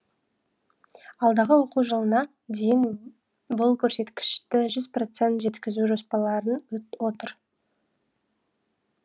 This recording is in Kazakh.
алдағы оқу жылына дейін бұл көрсеткішті жүз процент жеткізу жоспарларын отыр